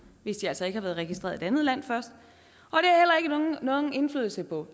hvis de altså ikke har været registreret i et andet land først og nogen indflydelse på